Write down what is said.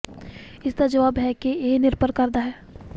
ਇਸ ਦਾ ਜਵਾਬ ਹੈ ਕਿ ਇਹ ਨਿਰਭਰ ਕਰਦਾ ਹੈ